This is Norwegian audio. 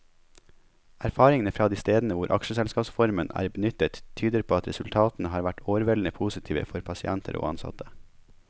Erfaringene fra de stedene hvor aksjeselskapsformen er benyttet, tyder på at resultatene har vært overveldende positive for pasienter og ansatte.